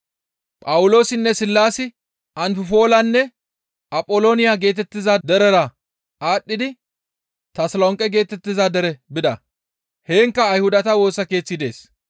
Phawuloosinne Sillaasi Anfiphoolanne Apholooniya geetettiza derera aadhdhidi Tasolonqe geetettiza dere bida; heenkka Ayhudata Woosa Keeththi dees.